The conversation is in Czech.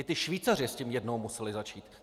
I ti Švýcaři s tím jednou museli začít.